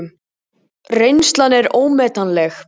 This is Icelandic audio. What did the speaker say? Reynslan er ómetanleg